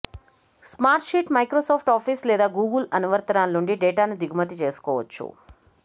Smartsheet Microsoft Office లేదా Google అనువర్తనాల నుండి డేటాను దిగుమతి చేసుకోవచ్చు